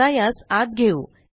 आता यास आत घेऊ